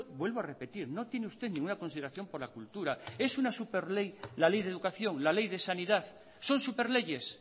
vuelvo a repetir no tiene usted ninguna consideración por la cultura es una superley la ley de educación la ley de sanidad son superleyes